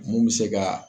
Mun bɛ se ka